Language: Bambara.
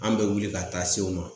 An bɛ wuli ka taa se u ma